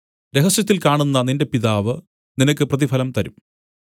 രഹസ്യത്തിൽ കാണുന്ന നിന്റെ പിതാവ് നിനക്ക് പ്രതിഫലം തരും